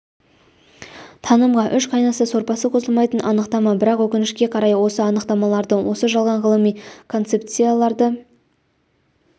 танымға үш қайнаса сорпасы қосылмайтын анықтама бірақ өкінішке қарай осы анықтамаларды осы жалған ғылыми концепцияларды